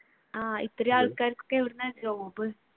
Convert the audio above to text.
ആഹ് ഇത്ര ആൾക്കാർക്ക് എവിടെയെന്ന job